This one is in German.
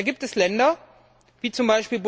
Da gibt es Länder wie z.